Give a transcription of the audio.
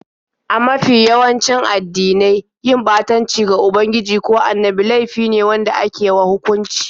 A mafi yawanci addinai, yin ɓatanci ga ubangiji ko annabi laifi ne wanda ake wa hukunci.